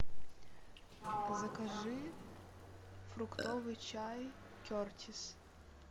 закажи фруктовый чай кертис